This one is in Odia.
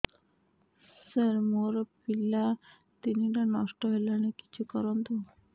ସାର ମୋର ପିଲା ତିନିଟା ନଷ୍ଟ ହେଲାଣି କିଛି କରନ୍ତୁ